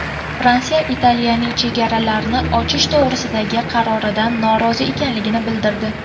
Fransiya Italiyaning chegaralarni ochish to‘g‘risidagi qaroridan norozi ekanligini bildirdi.